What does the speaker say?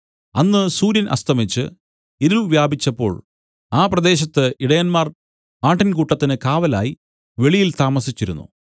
അന്ന് സൂര്യൻ അസ്തമിച്ച് ഇരുൾ വ്യാപിച്ചപ്പോൾ ആ പ്രദേശത്ത് ഇടയന്മാർ ആട്ടിൻകൂട്ടത്തിന് കാവലായി വെളിയിൽ താമസിച്ചിരുന്നു